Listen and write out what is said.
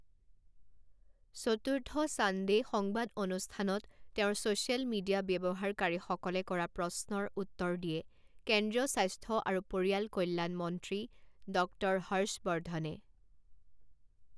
চতুৰ্থ ছানডে সংবাদ অনুষ্ঠানত তেওঁৰ ছচিয়েল মিডিয়া ব্যবহাৰকাৰীসকলে কৰা প্ৰশ্নৰ উত্তৰ দিয়ে কেন্দ্ৰীয় স্বাস্থ্য আৰু পৰিয়াল কল্যাণ মন্ত্ৰী ডঃ হৰ্ষবৰ্ধনে।